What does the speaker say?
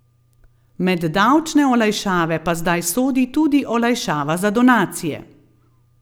Med davčne olajšave pa zdaj sodi tudi olajšava za donacije.